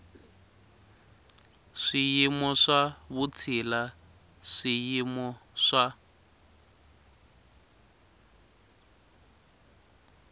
swiyimo swa vutshila swiyimo swa